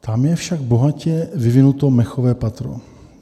Tam je však bohatě vyvinuto mechové patro.